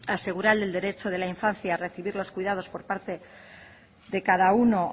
asegurar el derecho de la infancia recibir los cuidados por parte de cada uno